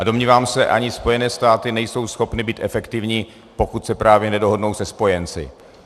A domnívám se, ani Spojené státy nejsou schopny být efektivní, pokud se právě nedohodnou se spojenci.